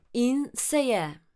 In se je.